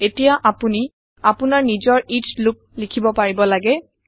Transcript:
এতিয়া আপোনি আপোনাৰ নিজৰ এচ লুপ লিখিব পাৰিব লাগে